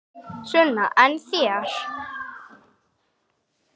Sunna: En þér?